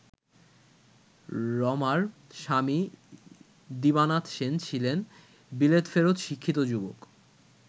রমার স্বামী দিবানাথ সেন ছিলেন বিলেতফেরত শিক্ষিত যুবক।